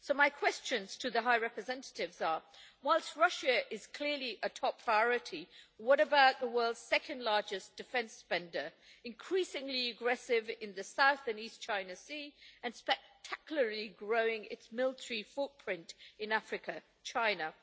My questions to the High Representative are whilst Russia is clearly a top priority, what about the world's second largest defence spender, increasingly aggressive in the South and East China Sea and spectacularly growing its military footprint in Africa China?